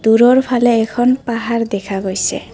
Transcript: দূৰৰ ফালে এখন পাহাৰ দেখা গৈছে।